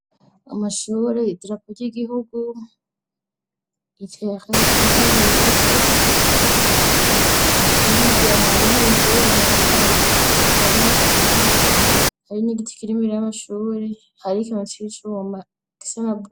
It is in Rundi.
Amashuri idrapo ry'igihugu itere iriwo ibivu yiga hariho inzuri yaneta yaje hariho ibiti hari nigiti kirimir r'amashubri hari kincishabumaisanab.